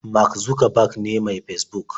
Mark Zuckerberg ne mai Fesbuk